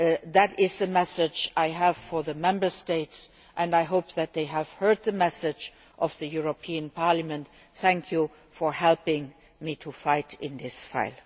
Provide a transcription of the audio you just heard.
That is the message I have for the Member States, and I hope that they have heard the message from the European Parliament. Thank you for helping me to fight on this issue.